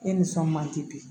E nisɔn man di